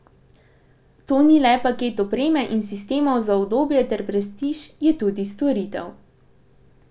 To ni le paket opreme in sistemov za udobje ter prestiž, je tudi storitev.